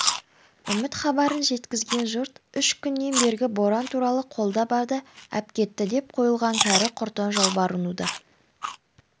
үміт хабарын жеткізген жұрт үш күннен бергі боран туралы қолда барды әпкетті деп қойған кәрі-құртаң жалбарынуда